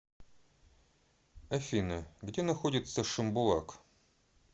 афина где находится шимбулак